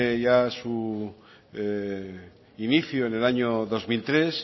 ya su inicio en el año dos mil tres